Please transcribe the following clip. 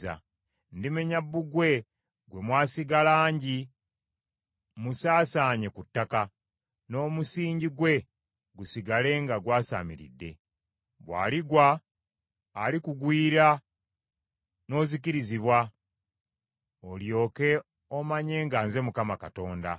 Ndimenya bbugwe gwe mwasiiga langi musaasaanye ku ttaka, n’omusingi gwe gusigale nga gwasaamiridde. Bw’aligwa, alikugwiira n’ozikirizibwa, olyoke omanye nga nze Mukama Katonda.